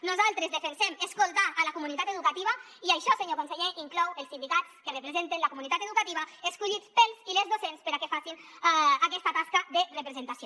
nosaltres defensem escoltar la comunitat educativa i això senyor conseller inclou els sindicats que representen la comunitat educativa escollits pels i les docents perquè facin aquesta tasca de representació